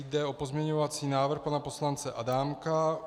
Jde o pozměňovací návrh pana poslance Adámka.